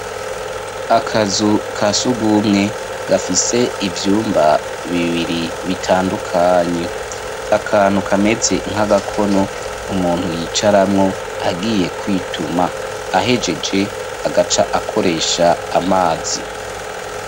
Akazu kasugwumwe gafise ivyumba bibiri bitandukanye , akantu kameze nk'agakono umuntu yicaramwo agiye kwituma , ahegeje agaca akoresha amazi.